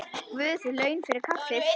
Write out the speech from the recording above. Guð laun fyrir kaffið.